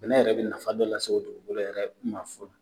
bɛnɛ yɛrɛ bɛ nafa dɔ lase o dugukolo yɛrɛ ma fɔlɔ